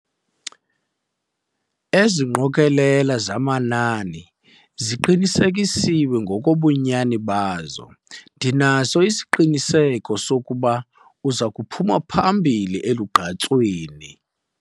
Ezi ngqokelela zamanani ziqinisekisiwe ngokobunyani bazo. ndinaso isiqiniseko sokuba uza kuphuma phambili elugqatsweni